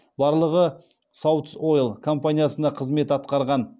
барлығы саутс ойл компаниясында қызмет атқарған